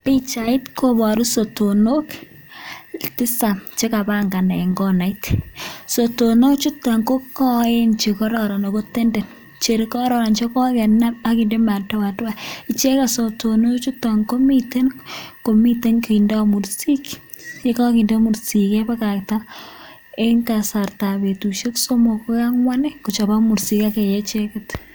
Pichait koboru sotonok tisap che kabangan en konait, sotonok chuton ko koen che kororon ako tenden chekororon chego kenab ak kinde madoadoa ichegen sotonok chuton komiten komiten kindo mursik ,ye kakinde mursik kebakta en kasartab butusiek somok agoi angwan kochobok mursik ak kee icheket.